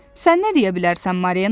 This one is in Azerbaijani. Sən nə deyə bilərsən Marina?